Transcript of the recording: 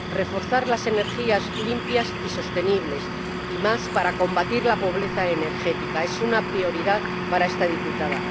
Reforzar las energías limpias y sostenibles —y más, para combatir la pobreza energética— es una prioridad para esta diputada.